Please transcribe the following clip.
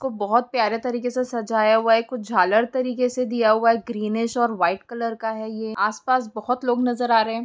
इनको बहुत प्यारे तरीके से सजाया हुआ है कुछ झालर तरीके से दिया हुआ है और व्हाइट कलर का है ये आसपास बहुत लोग नजर आ रहे।